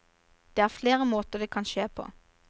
Det er flere måter det kan skje på.